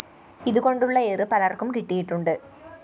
ഇതുകൊണ്ടുള്ള ഇആർ പലര്‍ക്കും കിട്ടിയിട്ടുണ്ട്